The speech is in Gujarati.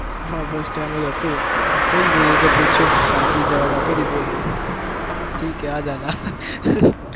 હા first time જ હતું મેં કહી દીધું, જે જે પૂછ્યું મેં શાંતિથી જવાબ આપી દીધો હતો, તો એ કહે ठीक है आजा ना